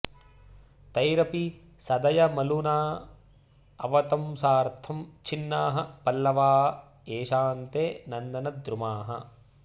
तैरपि सदयमलूना अवतंसार्थं छिन्नाः पल्लवा येषां ते नन्दनद्रुमाः